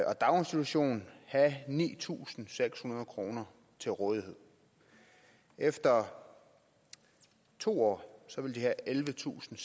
og daginstitution have ni tusind seks hundrede kroner til rådighed efter to år vil de have ellevetusinde